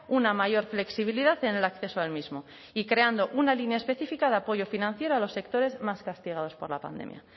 una mayor flexibilidad en el acceso al mismo y creando una línea específica de apoyo financiero a los sectores más castigados por la pandemia